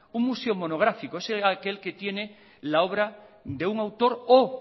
un museo monográfico es aquel que tiene la obra de un autor o